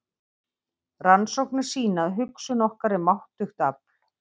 Rannsóknir sýna að hugsun okkar er máttugt afl.